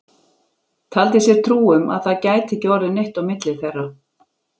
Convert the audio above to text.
Taldi sér trú um að það gæti ekki orðið neitt á milli þeirra.